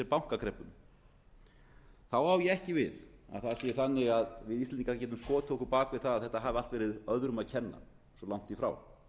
þá á ég ekki við að það sé þannig að við íslendingar getum skotið okkur á bak við það að þetta hafi allt verið öðrum að kenna svo langt í frá